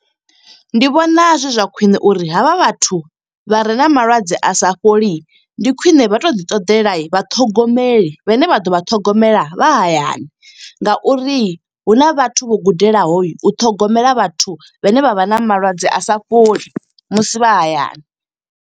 Ndi vhona zwi zwa khwiṋe uri havha vhathu vha re na malwadze a sa fholi, ndi khwiṋe vha to ḓi ṱoḓela vha ṱhogomeli. Vhe ne vha ḓo vha ṱhogomela vha hayani, nga uri hu na vhathu vho gudelaho, u ṱhogomela vhathu vhe ne vha vha na malwadze a sa fholi, musi vha hayani.